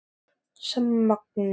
Leon, hefur þú prófað nýja leikinn?